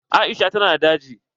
Aisha ta na da daji.